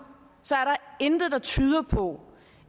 intet der tyder på